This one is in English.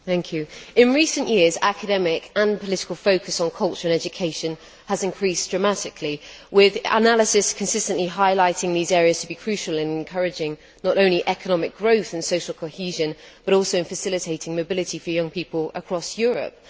Mr President, in recent years, academic and political focus on culture and education has increased dramatically, with analysis consistently highlighting these areas to be crucial not only in encouraging economic growth and social cohesion, but also in facilitating mobility for young people across Europe.